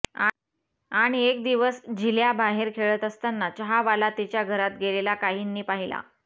आणि एक दिवस झिल्या बाहेर खेळत असताना चहावाला तिच्या घरात गेलेला काहींनी पाहिला